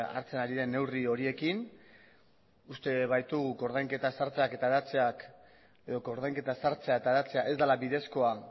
hartzen ari den neurri horiekin uste dugu koordainketa sartzea eta hedatzea ez dela bidezkoa